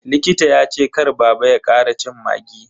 Likita ya ce kar baba ya kara cin maggi.